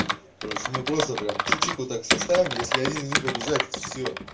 кароче мы просто прям чик чик вот так составим если один из них побеждает все